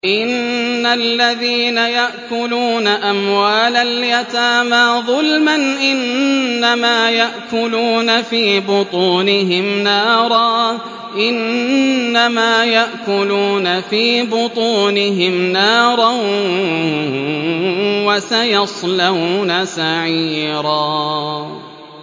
إِنَّ الَّذِينَ يَأْكُلُونَ أَمْوَالَ الْيَتَامَىٰ ظُلْمًا إِنَّمَا يَأْكُلُونَ فِي بُطُونِهِمْ نَارًا ۖ وَسَيَصْلَوْنَ سَعِيرًا